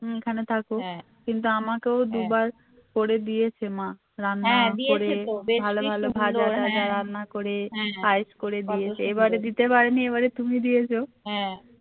তুমি এখানে থাকো কিন্তু আমাকে ও দুবার করে দিয়েছে মা রান্না করে ভালো ভালো ভাজা টাজা রান্না করে এবারে দিতে পারেনি এবারে তুমি দিয়েছো